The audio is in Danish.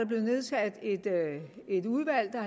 blevet nedsat et udvalg der